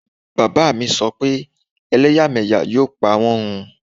Bàbá mi so pe elẹ́yàmẹ́yà yóò pa wọn run